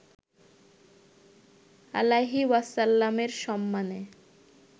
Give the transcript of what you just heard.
আলাইহি ওয়াসাল্লামের সম্মানে